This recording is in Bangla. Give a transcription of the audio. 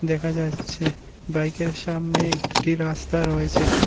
দেখা যাচ্ছে বাইকের সামনে একটি রাস্তা রয়েছে।